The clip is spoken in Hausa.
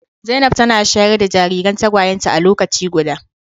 Zainab tana shayar da jariran tagwayenta a lokaci guda.